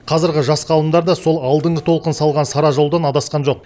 қазіргі жас ғалымдар да сол алдыңғы толқын салған сара жолдан адасқан жоқ